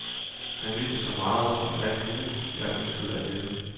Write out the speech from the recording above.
Han vidste så meget om alt muligt, jeg ønskede at vide.